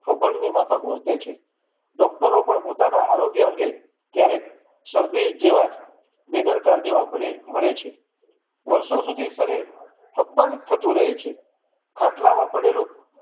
અભણની માફક વર્તે છે doctor રો પણ પોતાના આરોગ્ય અંગે ક્યારેક શરદી જેવાં બેદરકાર જેવા મળે છે. વર્ષો સુધી શરીર અપમાનિત થતું રહે છે ખાટલા માં પડેલુ